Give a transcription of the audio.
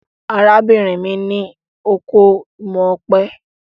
Arábìnrin mi ní oko imọ̀ ọ̀pẹ.